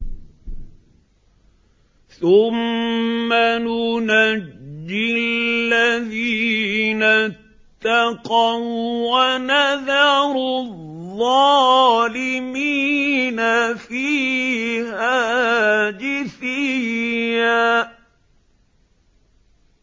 ثُمَّ نُنَجِّي الَّذِينَ اتَّقَوا وَّنَذَرُ الظَّالِمِينَ فِيهَا جِثِيًّا